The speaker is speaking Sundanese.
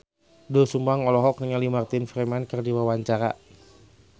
Doel Sumbang olohok ningali Martin Freeman keur diwawancara